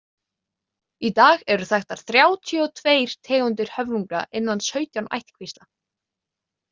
Í dag eru þekktar þrjátíu og tveir tegundir höfrunga innan sautján ættkvísla.